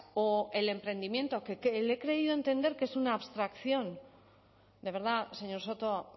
o el emprendimiento que le he creído entender que es una abstracción de verdad señor soto